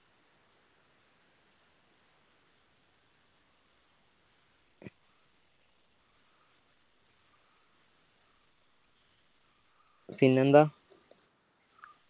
പിന്നെന്താ